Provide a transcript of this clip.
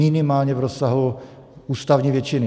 Minimálně v rozsahu ústavní většiny.